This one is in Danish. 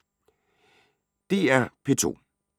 DR P2